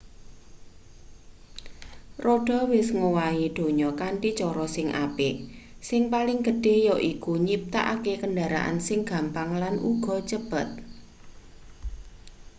roda wis ngowahi donya kanthi cara sing apik sing paling gedhe yaiku nyiptakake kendaraan sing gampang lan uga cepet